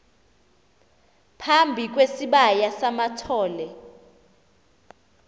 phambi kwesibaya samathole